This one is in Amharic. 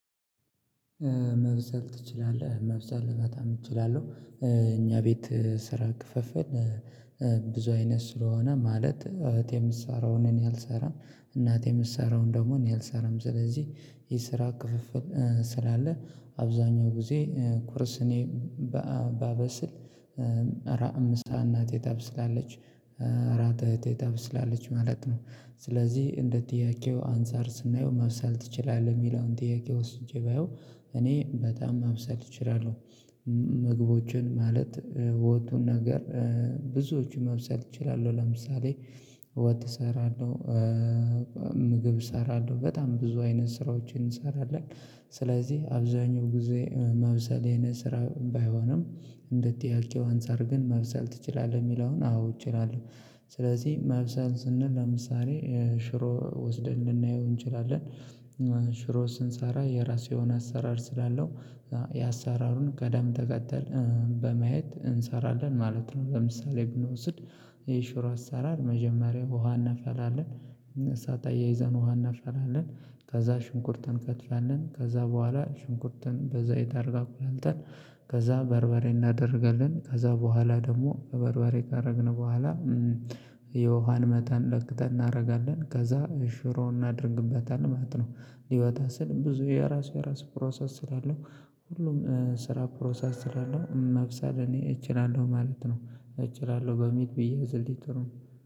ማብሰል ችላለህ ማብሰል በጣም እችላለሁ እኛ ቤት ስራ ክፍፍል። ብዙ አይነት ስለሆነ ማለት እህቴ የምትሰራውን እኔ አልሰራም። እናቴ የምትሰራውን ደግሞ እኔ አልሰራም። ስለዚህ የስራ ክፍፍል ስላለ አብዛኛው ጊዜ ቁርስ እኔ በአ ባበስል እራት ምሳ እናቴ ታበስላለች እራት እህቴ ታበስላለች ማለት ነው። ስለዚህ እንደ ጥያቄው አንፃር ስናየው ማብሰል ትችላለህ የሚለውን ጥያቄ ወስጄ ባየው እኔ በጣም ማብሰል እችላለሁ። ምግቦችን ማለት ወጡን ነገር ብዙዎቹ ማብሰል እችላለሁ ለምሳሌ ወጥ እሰራለሁ። ምግብ እሰራለሁ በጣም ብዙ አይነት ስራዎችን እንሰራለን። ስለዚህ አብዛኛው ጊዜ ማብሰል የኔ ስራ ባይሆንም እንደ ጥያቄው አንፃር ግን ማብሰል ትችላለህ የሚለውን አዎ እችላለሁ። ስለዚህ ማብሰል ስንል ለምሳሌ ሽሮ ወስደን ልናየው እንችላለን። ሽሮ ስንሰራ የራሱ የሆነ አሰራር ስላለው የአሰራሩን ቅደም ተከተል በማየት እንሰራለን ማለት ነው። ለምሳሌ ብንወስድ የሽሮ አሰራር መጀመሪያ ውሃ እናፈላለን። እሳት አያይዘን ውሃ እናፈላለን። ከዛ ሽንኩርት እንከትፋለን ከዛ በኋላ ሽንኩርቱን በዘይት አድርገን አቁላልተን። ከዛ በርበሬ እናደርጋለን ከዛ በኋላ ደግሞ በበርበሬ ካደረግን በኋላ የውሃን መጠን ለክተን እናደርጋለን ከዛ ሽሮ እናድርግበታለን ማለት ነው። ሊወጣ ሲል ብዙ የራሱ የራሱ ፕሮሰስ ስላለው ሁሉም ስራ ፕሮሰስ ስላለው ማብሰል እኔ እችላለሁ ማለት ነው። እችላለሁ በሚል ብዬ አዝልተ